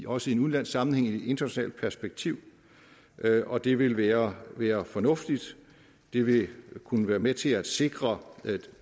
også i en udenlandsk sammenhæng og i et internationalt perspektiv og det vil være være fornuftigt det vil kunne være med til at sikre de